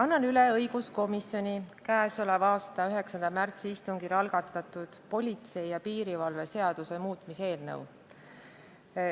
Annan üle õiguskomisjoni k.a 9. märtsi istungil algatatud politsei ja piirivalve seaduse muutmise seaduse eelnõu.